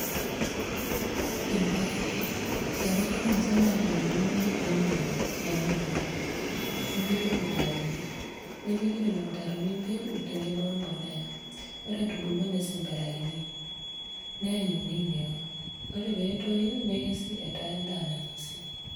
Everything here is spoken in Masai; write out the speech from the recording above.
llpaek. Ereteni olchamba aaturie olmokombet loolmong'i anaa oltrakta nepiki ilmutaroni, nepiki lelo mutaaroni embeko tenebo we mbolea, ore etubulua nesemberakini, neanyuni meo ore pee etuyu nekesi etaa enda nainosi.